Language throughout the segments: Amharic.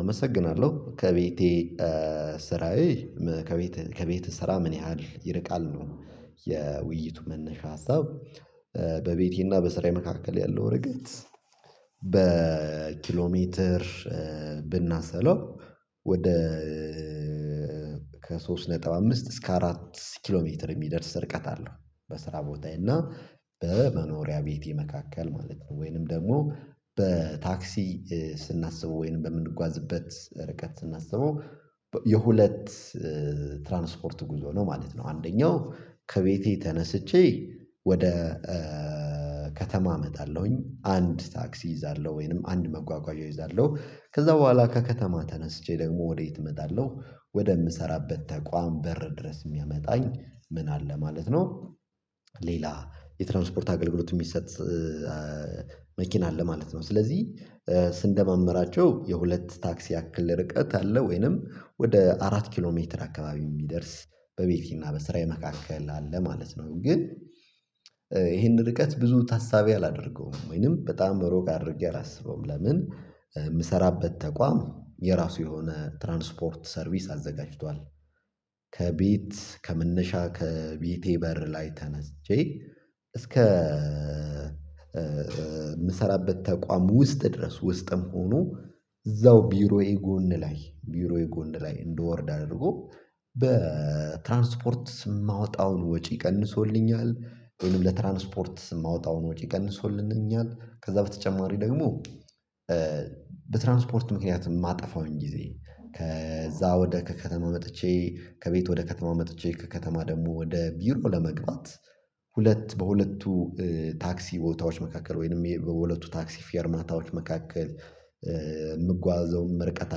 አመሰግናለሁ ከቤቴ ስራዬ ከቤት እሰራ ምን ያህል ይርቃል ነው? የውይይቱ መነሻ ሀሳብ። በቤቴና በስራዬ መካከል ያለው ርገት በኪሎሜትር ብናሰለው ወደ ከሶስት ነጥብ አምስት እስከ አራት ኪሎ ሜትር የሚደርስ ርቀት አለው። በስራ ቦታዬ እና በመኖሪያ ቤቴ መካከል ማለት ነው። ወይንም ደግሞ በታክሲ ስናስበው ወይንም በምንጓዝበት ርቀት ስናስበው የሁለት ትራንስፖርት ጉዞ ነው ማለት ነው። አንደኛው ከቤቴ ተነስቼ ወደ ከተማ እመጣለሁኝ አንድ ታክሲ እይዛለሁ ወይንም አንድ መጓጓዣ እይዛለሁ ከዛ በኋላ ከከተማ ተነስቼ ደግሞ ወዴት እመጣለሁ ወደምሰራበት ተቋም በር ድረስ የሚያመጣኝ ምን አለ ማለት ነው። ሌላ የትራንስፖርት አገልግሎት የሚሰጥ መኪና አለ ማለት ነው። ስለዚህ ስንደማመራቸው የሁለት ታክሲ ያክል ርቀት አለ ወይንም ወደ አራት ኪሎ ሜትር አካባቢው የሚደርስ በቤቴና በስራዬ መካከል አለ ማለት ነው። ግን ይሄንን ርቀት ብዙ ታሳቢ አላደርገውም ወይንም በጣም በሩቅ አድርጌ አላስበውም ለምን የምሰራበት ተቋም የራሱ የሆነ ትራንስፖርት ሰርቪስ አዘጋጅቷል። ከቤት ከመነሻ ከቤቴ በር ላይ ተነስቸ እስከ የምሰራበት ተቋም ውስጥ ድረስ ውስጥም ሆኖ እዛው ቢሮዬ ጎን ላይ ቢሮዬ ጎን ላይ እንደወርድ አድርጎ በትራንስፖርት የማወጣውን ወጪ ቀንሶልኛል። ወይም ለትራንስፖርት ስም ማወጣውን ወጪ ቀንሶልንኛል። ከዛ በተጨማሪ ደግሞ በትራንስፖርት ምክንያት የማጠፋውን ጊዜ ከዛ ወደ ከከተማ መጥቼ ከቤት ወደ ከተማ መጥቼ ከከተማ ደግሞ ወደ ቢሮ ለመቀመጥ። ሁለት በሁለቱ ታክሲ ቦታዎች መካከል ወይንም የሁለቱ ታክሲ ፌርማታዎች መካከል የምጓዘው ርቀት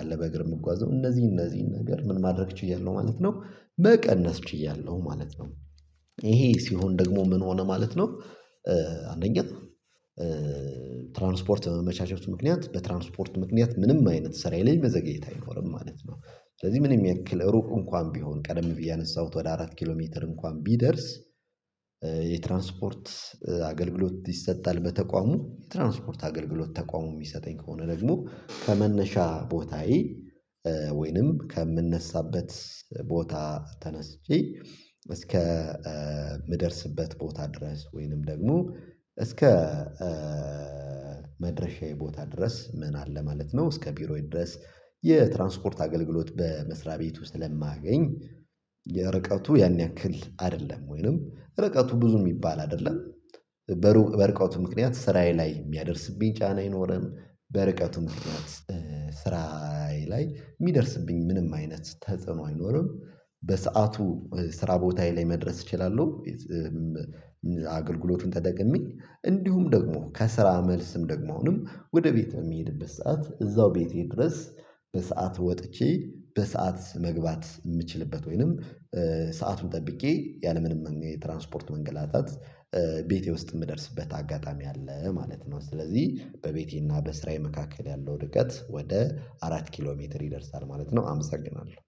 አለ በእግር የምጓዘው እነዚህ እነዚህን ነገር ምን ማድረግ እችላለሁ ማለት ነው መቀነስ ችያለሁ ማለት ነው። ይሄ ሲሆን ደግሞ ምን ሆነ ማለት ነው። አንደኛ ትራንስፖርት መመቻቸቱ ምክንያት በትራንስፖርት ምክንያት ምንም አይነት ስራ የለኝም በዘገየት አይኖርም ማለት ነው። ስለዚህ ምንም ያክል ሩቅ እንኳን ቢሆን ቀደም ብዬ አነሳሁት ወደ አራት ኪሎ ሜትር እንኳን ቢደርስ። የትራንስፖርት አገልግሎት ይሰጣል በተቋሙ የትራንስፖርት አገልግሎት ተቋሙ የሚሰጠኝ ከሆነ ደግሞ ከመነሻ ቦታዬ ወይንም ከምንነሳበት ቦታ ተነስቼ እስከ ምደርስበት ቦታ ድረስ ወይንም ደግሞ እስከ መድረሻዬ ቦታ ድረስ ምን አለ ማለት ነው። እስከ ቢሮዬ ድረስ የትራንስፖርት አገልግሎት በመስሪያ ቤቱ ስለማገኝ ርቀቱ ያን ያክል አይደለም ወይንም ርቀቱ ብዙ የሚባል አይደለም። በሩቅ በርቀቱ ምክንያት ስራዬ ላይ የሚያደርስብኝ ጫና የለም። በርቀቱም ስራዬ ላይ የሚደርስብኝ ምንም አይነት ተጽዕኖ አይኖርም። በሰአቱ ስራ ቦታ ላይ መድረስ እችላለሁ። አገልግሎቱን ተደግሜ እንዲሁም ደግሞ ከስራ መልስም ደግሞንም ወደ ቤት የሚሄድበት ሰዓት እዛው ቤቴ ድረስ በሰአት ወጥቼ በሰአት መግባት የምችልበት ወይንም ሰአቱን ጠብቄ ያለምንም የትራንስፖርት መንገላታት ቤቴ ውስጥ የምደርስበት አጋጣሚ አለ ማለት ነው። ስለዚህ በቤቴና በስራዬ መካከል ያለው ድቀት ወደ አራት ኪሎ ሜትር ይደርሳል ማለት ነው። አመሰግናለሁ